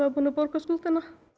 er búinn að borga skuldina